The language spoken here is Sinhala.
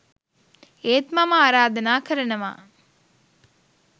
ඒත් මම ආරාධනා කරනවා